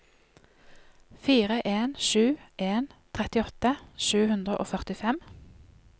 fire en sju en trettiåtte sju hundre og førtifem